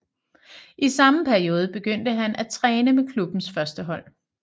I samme periode begyndte han at træne med klubbens førstehold